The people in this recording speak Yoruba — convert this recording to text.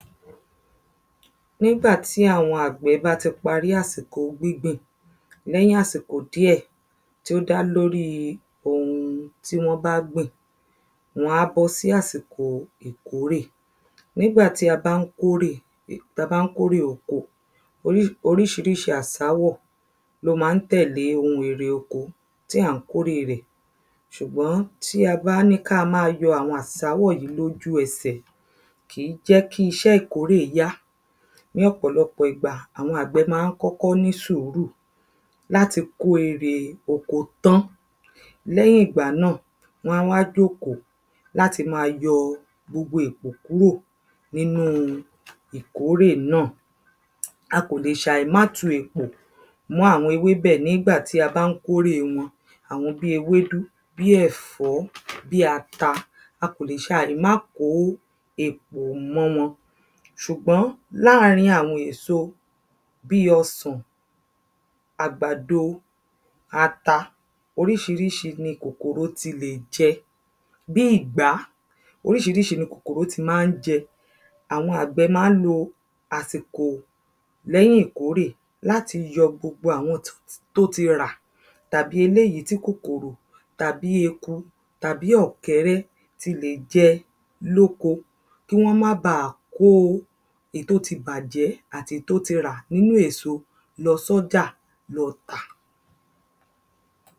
nígbàtí àwọn àgbẹ̀ bá ti parí àsìkò gbíngbìn, lẹ́yìn àsìkò dí ẹ̀ tí ó dá lórí ohun tíwọ́n bá gbìn wán bọ́ sí àsìkò ìkórè nígbàtí a bá ń kórè, ta bá ń kórè oko, orí oríṣiríṣi àsáwọ̀ ló máa ń tẹ̀lé ohun èrè oko tí a ń kórè rẹ̀ ṣùgbọ́n tí a bá ní káa máa yọ àwọn àsáwọ̀ yíì lójú ẹsẹ̀, kì í jẹ́ kí iṣé ìkórè yá. ní ọ̀pọ̀lọ́pọ̀ igbà, àwọn àgbẹ̀ máa ń kọ́kọ́ ní sùúrù láti kó èrè oko tán. lẹ́hìn ìgbà náà, wán wá jókò láti máa yọ gbogbo èpò kúrò nínú ìkórè náà a kòlè ṣà ì má tu èpò mọ́ àwọn ewébẹ̀ nígbà tí a bá ń kórè wọn àwọn bíi ewédú, bí ẹ̀fọ́, bí ata, a kò lè ṣà ì má kó èpò mọ́ wọn ṣùgbọ́n láàrín àwọn èso bíi ọsàn, àgbàdo, ata, oríṣiríṣi ni kòkòrò ti lè jẹ bíi ìgbá, oríṣiríṣi ni kòkòrò ti máa ń jẹ àwọn àgbẹ̀ máa ń lo àsìkò lẹ́yìn ìkórè láti yọ gbogbo àwọn tó ti tó ti rà tàbí eléyìí tí kòkòrò, tàbí eku tàbí ọ̀kẹ́rẹ́ ti lè jẹ lóko kí wọ́n má bàá kó èyí tó ti bàjẹ́ àti èyí tó ti rà nínú èso lọ sọ́jà lọ tà